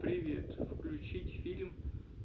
привет включить фильм